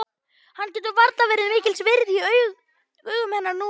Hann getur varla verið mikils virði í augum hennar núna.